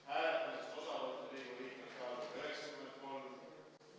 Hääletamisest osa võtnud liikmete arv: 93.